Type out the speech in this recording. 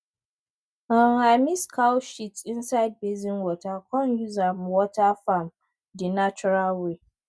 um i mix cow shit inside basin water come use am water farm di natural way